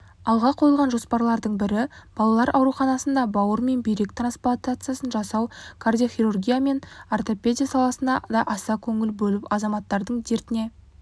алға қойылған жоспарлардың бірі балалар ауруханасында бауыр мен бүйрек трансплантациясын жасау кардиохирургия мен ортопедия саласына да аса көңіл бөліп азаматтардың дертіне